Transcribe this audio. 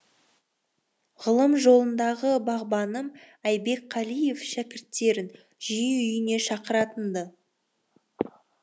ғылым жолындағы бағбаным айбек қалиев шәкірттерін жиі үйіне шақыратын ды